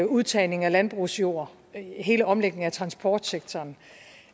udtagning af landbrugsjord hele omlægningen af transportsektoren